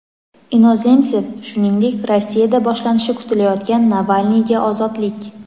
Inozemsev, shuningdek, Rossiyada boshlanishi kutilayotgan "Navalniyga ozodlik!"